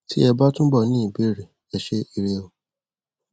tí ẹ bá túbọ ní ìbéèrè ẹ ṣé ire o